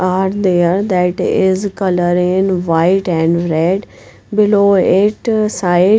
Are there that is color in white and red below it side--